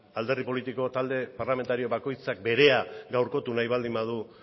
alderdi politiko parlamentario bakoitzak berea gaurkotu nahi baldin badu